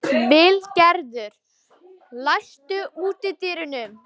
Vilgerður, læstu útidyrunum.